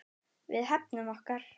Við hefnum okkar.